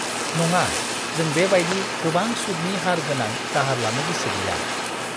नङा! जों बेबायदि गोबां सुदनि हार गोनां दाहार लानो गोसो गैया।